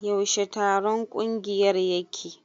Yaushe taron kungiyar yake?